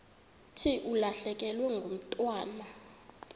thi ulahlekelwe ngumntwana